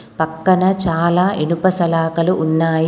పక్కన చాలా ఇనుప సలాకలు ఉన్నాయి.